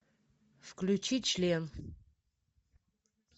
включи член